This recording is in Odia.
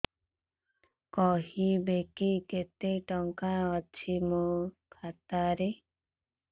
କହିବେକି କେତେ ଟଙ୍କା ଅଛି ମୋ ଖାତା ରେ